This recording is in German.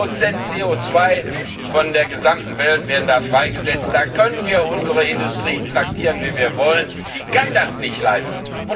8 CO 2 der gesamten Welt wird dort freigesetzt, da können wir unsere Industrie traktieren, wie wir wollen, die kann das nicht leisten.